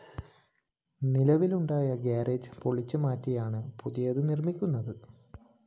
നിലവിലുണ്ടായിരുന്ന ഗാരേജ്‌ പൊളിച്ചുമാറ്റിയാണ് പുതിയത് നിര്‍മ്മിക്കുന്നത്